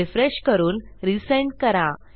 refresh करून resend करा